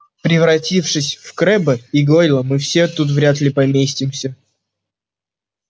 превратившись в крэбба и гойла мы все тут вряд ли поместимся